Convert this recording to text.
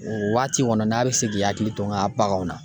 O waati kɔni n'a be se k'i hakili to n ka baganw na.